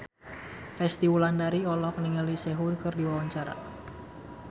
Resty Wulandari olohok ningali Sehun keur diwawancara